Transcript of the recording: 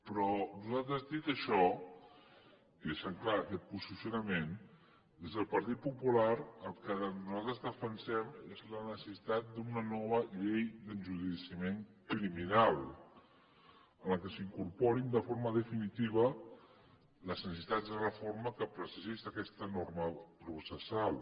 però dit això i deixant clar aquest posicionament des del partit popular el que nosaltres defensem és la necessitat d’una nova llei d’enjudiciament criminal en la qual s’incorporin de forma definitiva les necessitats de reforma que precisa aquesta norma processal